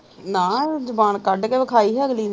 ਨਾ ਜੁਬਾਨ ਕੱਢ ਕ ਵੇਖਾਈ ਹੀ ਅਗਲੀ ਨੇ